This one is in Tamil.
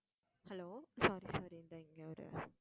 hello sorry sorry இந்த இங்க ஒரு